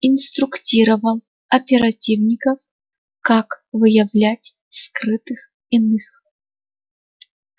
инструктировал оперативников как выявлять скрытых иных